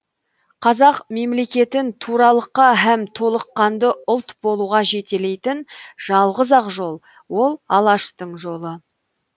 қазақ мемлекетін туралыққа һәм толыққанды ұлт болуға жететелейтін жалғыз ақ жол ол алаштың жолы